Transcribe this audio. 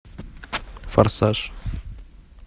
форсаж